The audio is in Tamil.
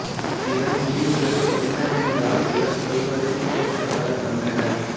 இதன் முடிவுகள் என்னவென்றால் இவர் சொல்வதைக் கேட்க பலர் வந்தனர்